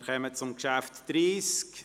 Wir kommen zum Traktandum 30.